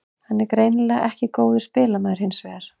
Hann er greinilega ekki góður spilamaður hinsvegar.